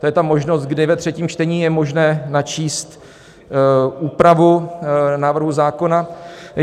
To je ta možnost, kdy ve třetím čtení je možné načíst úpravu návrhu zákona.